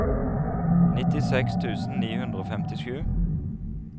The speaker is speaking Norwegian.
nittiseks tusen ni hundre og femtisju